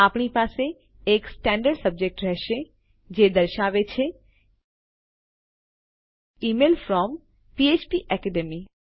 આપણી પાસે એક સ્ટાન્ડર્ડ સબ્જેક્ટ રહેશે જે દર્શાવે છે ઇમેઇલ ફ્રોમ ફ્પેકેડમી